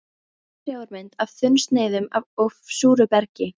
Smásjármynd af þunnsneiðum af súru bergi.